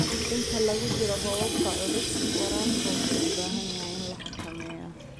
Inta lagu jiro roobabka culus, waraabka wuxuu u baahan yahay in la xakameeyo.